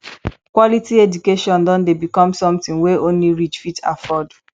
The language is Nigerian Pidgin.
quality education don dey become something wey only rich fit afford